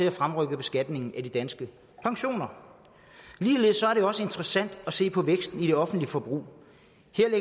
at fremrykke beskatningen af de danske pensioner ligeledes er det også interessant at se på væksten i det offentlige forbrug